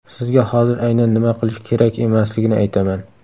Sizga hozir aynan nima qilish kerak emasligini aytaman.